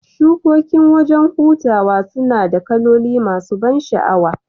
Shukokin wajan hutaw sunada kaloli masu ban shaawa